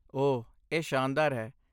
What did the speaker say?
ਓਹ, ਇਹ ਸ਼ਾਨਦਾਰ ਹੈ!